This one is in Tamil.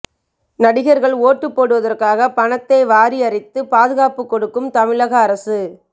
நடிகர்கள் ஓட்டுப் போடுவதற்காக பணத்தை வாரியிறைத்து பாதுகாப்பு கொடுக்கும் தமிழக அரசு